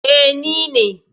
Eh, ni ne.